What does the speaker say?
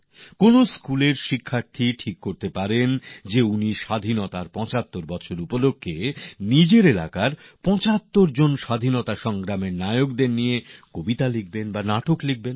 কোনও স্কুলের ছাত্রছাত্রীরা সিদ্ধান্ত নিতে পারেন যে স্বাধীনতার ৭৫ বছরে নিজেদের এলাকার ৭৫ জন নায়কের উপরে কবিতা লিখবেন নাটক লিখবেন